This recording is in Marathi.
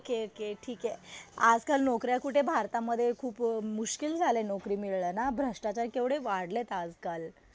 ओके ओके ठीक आहे. आजकाल नोकऱ्या कुठे भारतामध्ये खूप मुश्किल झालंय नोकरी मिळणं ना. भ्रष्टाचार केवढे वाढलेत आजकाल.